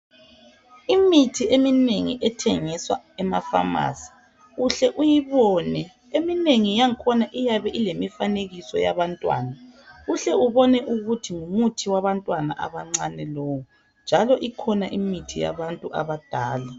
Imithi eminengi ethengiswa emafamasi uhle uyibone eminengi yangakhona iyabe ilemifanekiso yabantwana uhle ubone ukuthi ngumuthi wabantwana abancane lowu njalo ikhona imithi yabantu abadala.